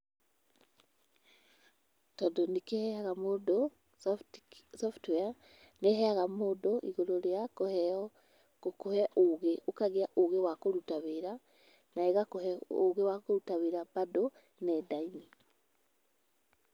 Tondũ nĩ kĩheaga mũndũ software, nĩ iheaga mũndũ igoro rĩa kũheo ũge. Ũkagĩa ugĩ wa kũruta wĩra, na igakũhe ũgĩ wa kũruta wĩra bado nenda-inĩ.